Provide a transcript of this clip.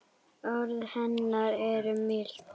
Orð hennar eru mild.